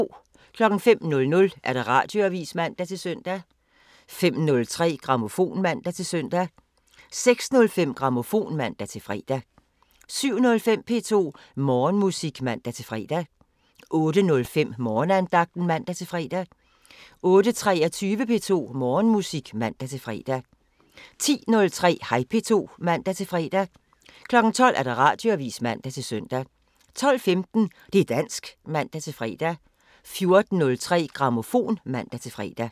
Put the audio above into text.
05:00: Radioavisen (man-søn) 05:03: Grammofon (man-søn) 06:05: Grammofon (man-fre) 07:05: P2 Morgenmusik (man-fre) 08:05: Morgenandagten (man-fre) 08:23: P2 Morgenmusik (man-fre) 10:03: Hej P2 (man-fre) 12:00: Radioavisen (man-søn) 12:15: Det' dansk (man-fre) 14:03: Grammofon (man-fre)